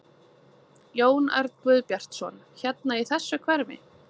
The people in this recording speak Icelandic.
Jón Örn Guðbjartsson: Hérna í þessu hverfi?